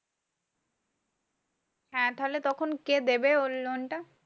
হ্যাঁ থালে তখন কে দেবে ওর loan টা?